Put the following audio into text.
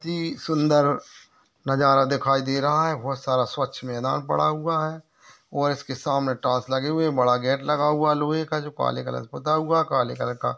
सुन्दर नजारा देखाई दे रहा है। बहुत सारा स्वच्छ मैदान पड़ा हुआ है और इसके सामने टाइल्स लगे हुए हैं बड़ा गेट लगा हुआ है लोहे का जो काले कलर पुता हुआ है काले कलर का।